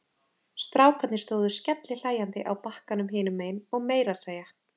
Strákarnir stóðu skellihlæjandi á bakkanum hinum megin og meira að segja